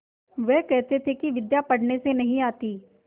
वह कहते थे कि विद्या पढ़ने से नहीं आती